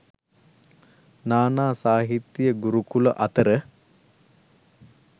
නා නා සාහිත්‍ය ගුරුකුල අතර